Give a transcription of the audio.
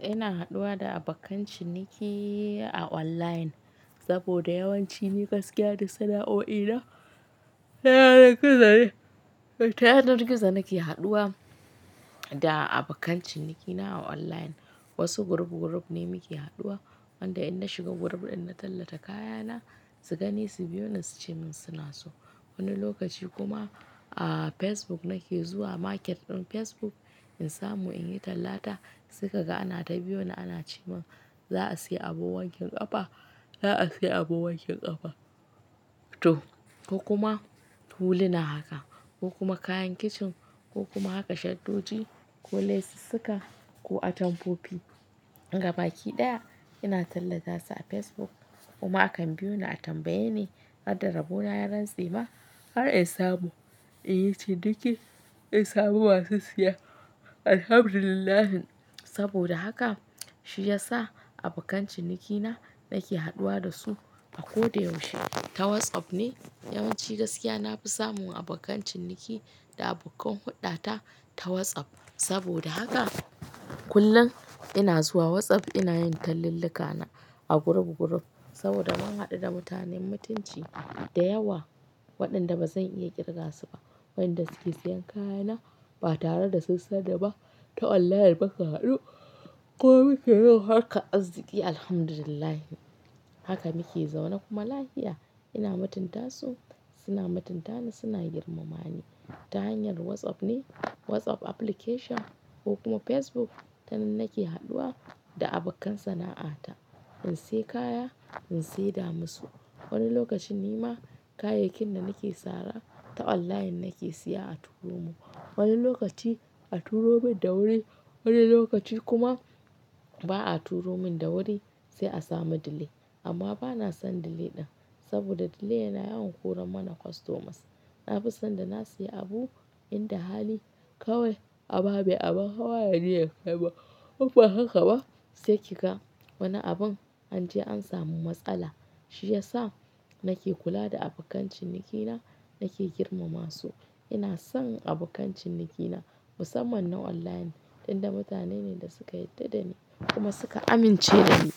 Ina haɗuwa da abokan ciniki a online saboda yawanci gaskiya da sana'oi na, ta yanar gizo ne ke haɗuwa da abokan ciniki na a online. Wasu group group ne muke haɗuwa wanda in na shiga group ɗin na tallata kaya na, su gani su biyo ni suce min suna so. Wani lokaci kuma a Facebook nake zuwa market ɗin Facebook in samu in yi tallata suka ga ana ta biyo na ana ci min za a siya abu wankin ƙafa, za a siya abu wankin ƙafa toh ko kuma huli na haka ko kuma kayan kicin ko kuma haka shaddoji ko lesuka ko atamfofi. Gabaki ɗaya ina tallata su a Facebook kuma akan biyo na a tambaye ni har da rabo na yaran tsema har in samu in yi ciniki in samu masu siya Alhamdulillah. Saboda haka shi ya sa abokan ciniki na nake haɗuwa da su a koda yaushe. Ta WhatsApp ne yawanci gaskiya na fi samun abokan ciniki da abokan hulɗa ta ta WhatsApp. Saboda haka kullum ina zuwa WhatsApp ina yin tallan luka na a group group saboda mun haɗu da mutanen mutunci da yawa waɗanda ba zan iya ƙirga su ba. Waɗanda suke siyan kaya na ba tare da sun sani ba ta online mu ka haɗu kuma muke yin harka arziki Alhamdulillah. Haka muke zaune kuma lafiya ina mutunta su suna mutanta ni suna girmama ni ta hanyar WhatsApp ne. WhatsApp application ko kuma Facebook tanan nake haɗuwa da abokan sana'a ta in siya kaya in sai da mu su. Wani lokacin ni ma kayayyakin da nake sara ta online nake siya a turo mun. Wani lokaci a turo mun da wuri, wani lokaci kuma ba a turo mun da wuri sai a samu delay. Amma bana son delay ɗin saboda delay yana yawan koran mana customers. Na fi son da na siya abu inda hali kawai a ba mai abun hawa ya je ya kai ba ko in ba haka ba sai ki ga wani abun an je an samu matsala. Shi ya sa nake kula da abokan ciniki na nake girmama su. Ina son abokan ciniki na musamman na wallahi ɗan da mutane ne da suka yarda da ni kuma suka amince da ni.